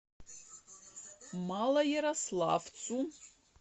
малоярославцу